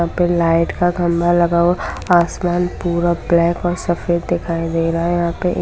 यहाँ पे लाईट का खम्भा लगा हुआ है आसमान पूरा ब्लेक और सफ़ेद दिखाई दे रहा हैयहाँ पे।